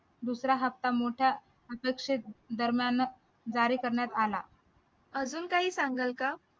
दुसरा हप्ता मोठा करण्यात आला